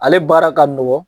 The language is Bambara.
Ale baara ka nɔgɔn